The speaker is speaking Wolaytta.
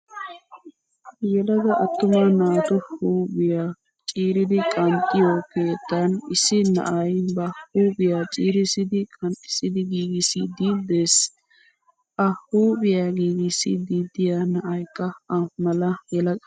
Yelaga attuma naatu huuphphiyaa ciirdi qanxxiyoo keettan issi na'ayi ba huuphiyaa ciirissidi qanxxissi giigisissiddi des. A huuphiyaa giigissiiddi diyaa na'ayikka A mala yelaga.